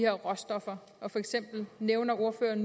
råstoffer for eksempel nævnte ordføreren